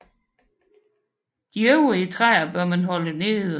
De øvrige træer bør man holde nede